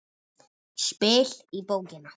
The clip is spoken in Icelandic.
Spil í bókina.